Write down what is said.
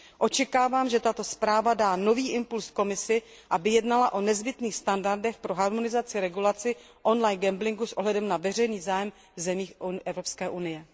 Očekávám, že tato zpráva dá nový impuls Komisi, aby jednala o nezbytných standardech pro harmonizaci regulace on line gamblingu s ohledem na veřejný zájem zemí Evropské unie.